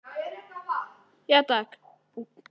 Hún hvarf til hans og kyssti hann snöggt á vangann.